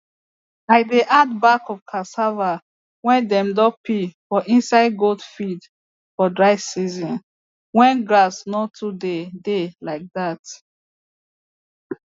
i dey add bark of cassava wey dem don peel for inside goat feed for dry season wen grass no too dey dey like dat